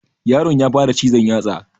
Yaron ya fara cizon yatsa